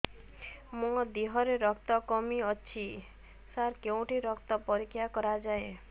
ମୋ ଦିହରେ ରକ୍ତ କମି ଅଛି ସାର କେଉଁଠି ରକ୍ତ ପରୀକ୍ଷା କରାଯାଏ